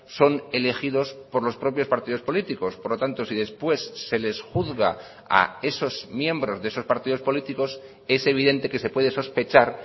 son elegidos por los propios partidos políticos por lo tanto si después se les juzga a esos miembros de esos partidos políticos es evidente que se puede sospechar